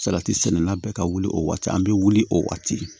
Salati sɛnɛna bɛɛ ka wuli o waati an bɛ wuli o waati